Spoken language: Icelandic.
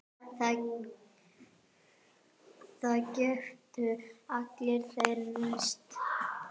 Það göptu allir, þeir mest.